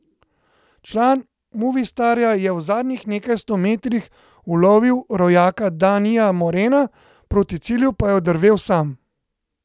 Član Movistarja je v zadnjih nekaj sto metrih ulovil rojaka Danija Morena, proti cilju pa je oddrvel sam.